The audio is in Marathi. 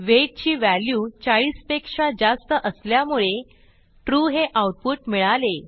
weightची व्हॅल्यू 40 पेक्षा जास्त असल्यामुळे Trueहे आऊटपुट मिळाले